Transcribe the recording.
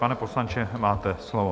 Pane poslanče, máte slovo.